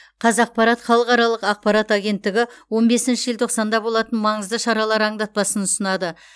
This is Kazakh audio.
қазақпарат халықаралық ақпарат агенттігі он бесінші желтоқсанда болатын маңызды шаралар аңдатпасын ұсынады